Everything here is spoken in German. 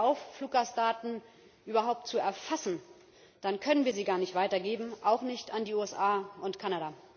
Hören wir auf, Fluggastdaten überhaupt zu erfassen Dann können wir sie gar nicht weitergeben, auch nicht an die USA und Kanada.